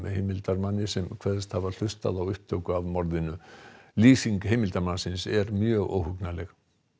heimildarmanni sem kveðst hafa hlustað á upptöku af morðinu lýsing heimildarmannsins er mjög óhugnanleg